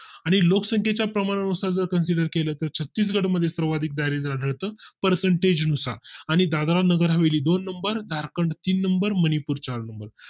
आणि लोकसंख्ये च्या प्रमाणा नुसार जर consider केलं तर छत्तीसगड मध्ये सर्वाधिक दारिद्र आढळत percentage नुसार आणि दादरा नगर हवेली दोन नंबर झारखंड तीन नंबर मणिपूर चार नंबर